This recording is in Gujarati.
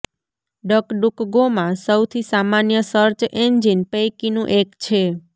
ડકડુક ગોમાં સૌથી સામાન્ય સર્ચ એન્જિન પૈકીનું એક છે